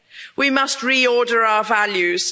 We must re order our values